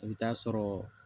I bɛ taa sɔrɔ